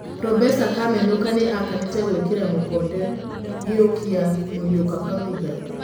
Probesa Kamenũka nĩ akanĩte gwĩkĩra mũkonde gĩkuũkĩa Mũriũka Kang'ũtha.